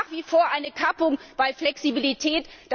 Es gibt nach wie vor eine Kappung bei der Flexibilität.